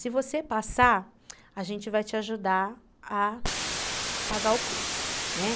Se você passar, a gente vai te ajudar a pagar o curso.